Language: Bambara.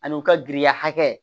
Ani u ka giriya hakɛ